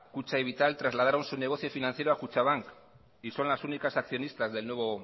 kutxa y vital trasladaron su negocio financiero a kutxabank y son las únicas accionistas del nuevo